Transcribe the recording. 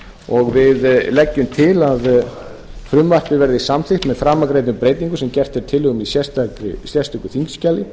og við leggjum til að frumvarpið verði samþykkt með framangreindum breytingum sem gerð er tillaga um í sérstöku þingskjali